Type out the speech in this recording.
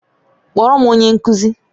Kpọọrọ m onye nkụzi!